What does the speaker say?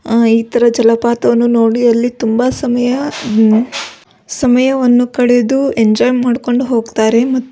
ಆ ಈ ತರ ಜಲಪಾತವನ್ನು ನೋಡಿ ಅಲ್ಲಿ ತುಂಬ ಸಮಯ ಆ ಅಂ ಸಮಯವನ್ನು ಕಳೆದು ಎಂಜೊಯ್ ಮಾಡಿಕೊಂಡು ಹೋಗ್ತಾರೆ ಮ --